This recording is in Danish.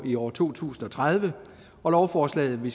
i år to tusind og tredive og lovforslaget vi